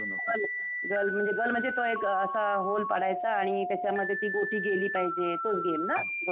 गल, गल म्हणजे तो एक असा होल पडायचा आणि त्याच्यामध्ये ती गोटी गेली पाहिजे. तोच गेम ना? गोट्या?